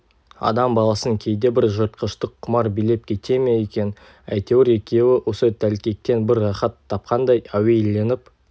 адам баласын кейде бір жыртқыштық құмар билеп кете ме екен әйтеуір екеуі осы тәлкектен бір рахат тапқандай әуейленіп